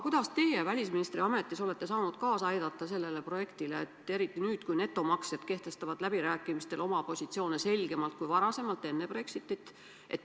Kuidas teie välisministri ametis olete saanud sellele projektile kaasa aidata, eriti nüüd, kui netomaksjad kehtestavad läbirääkimistel oma positsioone kindlamalt kui enne Brexitit?